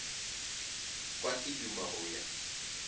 kwa ke duma go ya